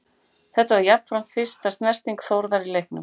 Þetta var jafnframt fyrsta snerting Þórðar í leiknum.